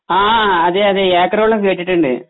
ആ അതെയതെ ഏക്കറാക്കുളം കേട്ടിട്ടുണ്ട്